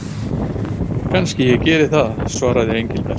Kannski ég geri það svaraði Engilbert.